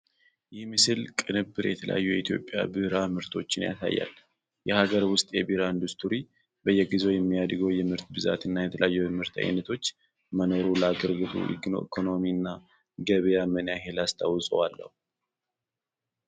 ይህ የምስል ቅንብር የተለያዩ የኢትዮጵያ ቢራ ምርቶችን ያሳያል። የሀገር ውስጥ የቢራ ኢንዱስትሪ በየጊዜው የሚያድገው የምርት ብዛት እና የተለያዩ የምርት ዓይነቶች መኖሩ ለአገሪቱ ኢኮኖሚ እና ገበያ ምን ያህል አስተዋፅዖ አለው?